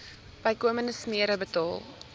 bykomende smere betaal